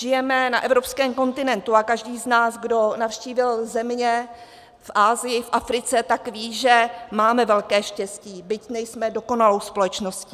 Žijeme na evropském kontinentu a každý z nás, kdo navštívil země v Asii, v Africe, tak ví, že máme velké štěstí, byť nejsme dokonalou společností.